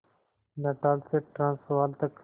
Natal से Transvaal तक